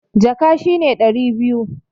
Jaka shi ne ɗari biyu.